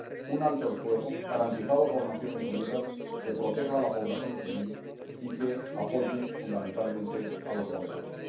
un alto el fuego, garantizado por las Naciones Unidas, que proteja a la población civil y que apoye fundamentalmente a los moderados.